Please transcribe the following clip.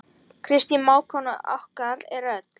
Kristín mágkona okkar er öll.